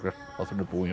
þátturinn er búinn hjá okkur